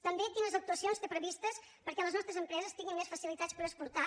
també quines actuacions té previstes perquè les nostres empreses tinguin més facilitats per exportar